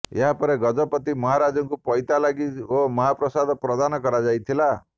ଏହା ପରେ ଗଜପତି ମହାରାଜାକୁ ପଇତା ଲାଗି ଓ ମହାପ୍ରସାଦ ପ୍ରଦାନ କରାଯାଇଥିଲା